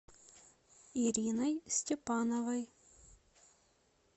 ириной степановой